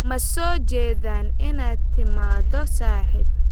Ma soo jeedaan inaad timaado saaxiib?